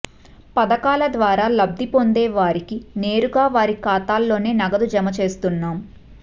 పథకాల ద్వారా లబ్ధిపొందే వారికి నేరుగా వారి ఖాతాల్లోనే నగదు జమ చేస్తున్నాం